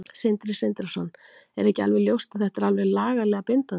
Sindri Sindrason: Er ekki alveg ljóst að þetta er lagalega bindandi?